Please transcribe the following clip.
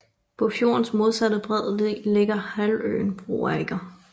På fjordens modsatte bred ligger halvøen Broager